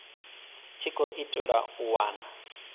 tshi khou itelwa u wana